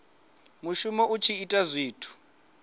muvhuso u tshi ita zwithu